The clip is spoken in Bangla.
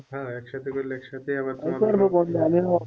হ্যাঁ এক সাথে করলে একসাথে